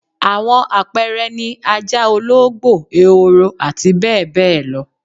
Àwọn àpẹẹre ni ajá, olóógbò, ehoro àti bẹẹ bẹẹ lo